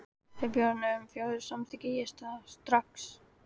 Þegar bjórarnir urðu fjórir, samþykkti ég það strax.